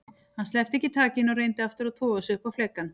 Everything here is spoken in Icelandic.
Hann sleppti ekki takinu og reyndi aftur að toga sig upp á flekann.